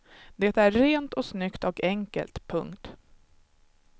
Det är rent och snyggt och enkelt. punkt